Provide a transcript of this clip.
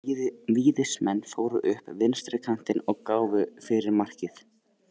Víðismenn fóru upp vinstri kantinn og gáfu fyrir markið.